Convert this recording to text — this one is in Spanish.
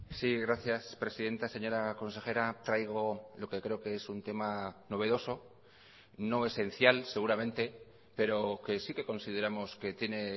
sí gracias presidenta señora consejera traigo lo que creo que es un tema novedoso no esencial seguramente pero que sí que consideramos que tiene